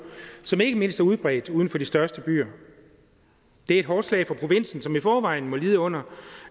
som ikke mindst er udbredt uden for de største byer det er et hårdt slag for provinsen som i forvejen må lide under